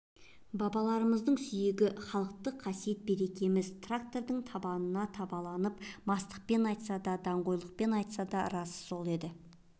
бабаларымыздың сүйегі халықтық қасиет-берекеміз трактордың табанына тапталды мастықпен айтса да даңғойланып айтса да расы сол еді